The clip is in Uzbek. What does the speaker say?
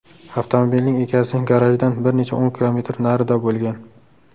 Avtomobilning egasi garajdan bir necha o‘n kilometr narida bo‘lgan.